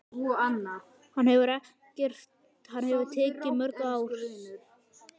Hann hefur tekið mörg ár.